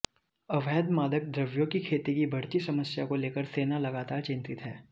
अवैध मादक द्रव्यों की खेती की बढ़ती समस्या को लेकर सेना लगातार चिंतित है